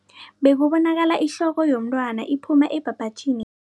Bekubonakala ihloko yomntwana iphuma ebhabhatjhini